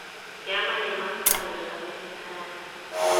kiama emosto anyor sobet ne kararan.